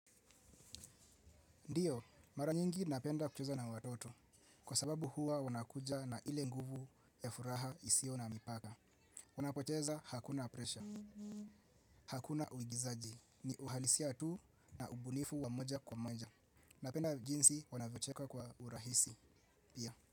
Ndiyo, mara nyingi napenda kucheza na watoto. Kwa sababu huwa wanakuja na ile nguvu ya furaha isio na mipaka. Wanakocheza hakuna presha. Hakuna uigizaji, ni uhalisia tu na ubunifu wa moja kwa moja. Napenda jinsi wanavyocheka kwa urahisi pia.